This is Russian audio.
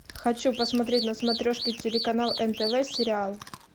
хочу посмотреть на смотрешке телеканал нтв сериал